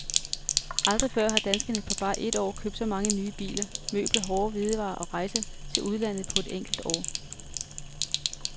Aldrig før har danskerne på bare et år købt så mange nye biler, møbler, hårde hvidevarer og rejser til udlandet på et enkelt år.